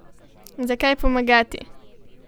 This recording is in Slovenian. Zakaj pomagati?